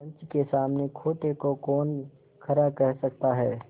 पंच के सामने खोटे को कौन खरा कह सकता है